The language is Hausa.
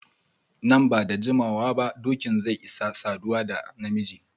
Nan ba da jimawa ba dokin zai isa saduwa da na miji.